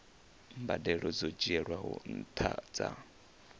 mbadelo dzo dzhielwaho nṱha dza